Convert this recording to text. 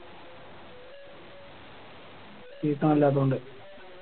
Season അല്ലാത്തകൊണ്ട്